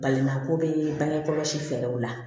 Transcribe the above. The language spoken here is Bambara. Balimako bɛ bange kɔlɔsi fɛɛrɛw la